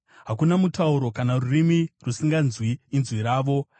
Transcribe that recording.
Hakuna mutauro kana rurimi rusinganzwi inzwi ravo.